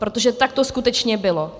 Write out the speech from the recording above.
Protože tak to skutečně bylo.